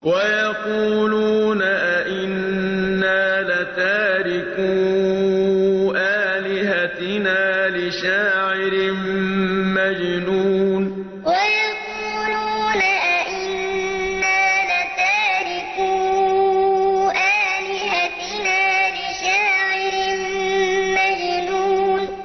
وَيَقُولُونَ أَئِنَّا لَتَارِكُو آلِهَتِنَا لِشَاعِرٍ مَّجْنُونٍ وَيَقُولُونَ أَئِنَّا لَتَارِكُو آلِهَتِنَا لِشَاعِرٍ مَّجْنُونٍ